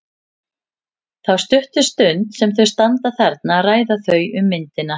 Þá stuttu stund sem þau standa þarna ræða þau um myndina.